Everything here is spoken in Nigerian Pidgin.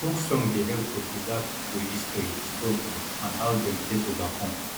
folk song dey help to preserve pipo history struggle and how dem take overcome